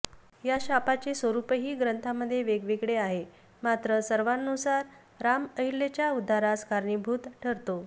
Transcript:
या शापाचे स्वरूपही ग्रंथांमध्ये वेगवेगळे आहे मात्र सर्वांनुसार राम अहल्येच्या उद्धारास कारणीभूत ठरतो